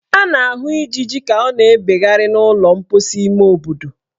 A na-ahụ ijiji ka ọ na-ebegharị n' ụlọ mposi ime obodo.